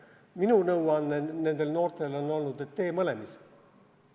Minu nõuanne nendele noortele on olnud, et tee mõlemas.